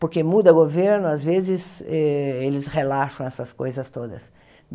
Porque muda governo, às vezes eh, eles relaxam essas coisas todas.